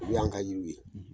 Olu y'an ka yiri ye.